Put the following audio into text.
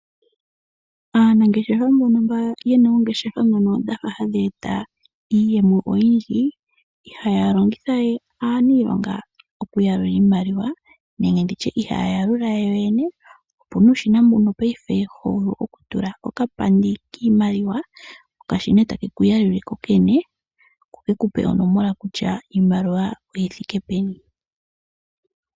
Aanangeshefa mbono yena oongeshefa dhafa hadhi e ta iiyemo oyindji ihaya longitha we aaniilonga oku yalula iimaliwa. Opuna omashina ngono payife ho vulu okutula okapandi kiimaliwa go taga yalula gogene, gotaga gandje nee onomola kutya iimaliwa oyi thike peni.